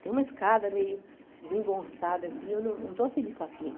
Tem uma escada meio desengonçada, assim, eu não não estou feliz com aquilo.